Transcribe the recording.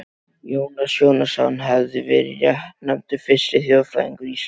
Jónas Jónasson hefur verið réttnefndur fyrsti þjóðfræðingur Íslands.